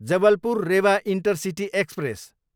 Jabalpur, Rewa intercity express